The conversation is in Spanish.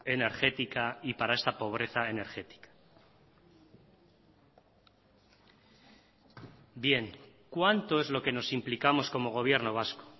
energética y para esta pobreza energética bien cuánto es lo que nos implicamos como gobierno vasco